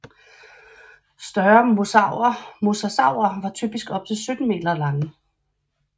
Større mosasaurer var typisk op til 17 meter lange